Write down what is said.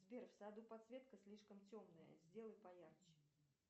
сбер в саду подсветка слишком темная сделай поярче